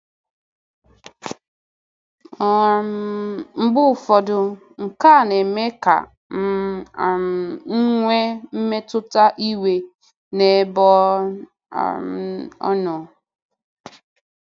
um Mgbe ụfọdụ, nke a na-eme ka um m nwee mmetụta iwe n'ebe ọ um nọ.